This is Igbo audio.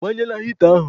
Ịgbanyela hịta ahụ?